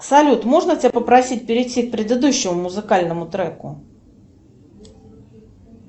салют можно тебя попросить перейти к предыдущему музыкальному треку